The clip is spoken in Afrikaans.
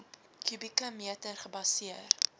kubieke meter gebaseer